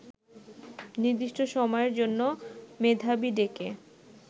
নির্দিষ্ট সময়ের জন্য মেধাবী ডেকে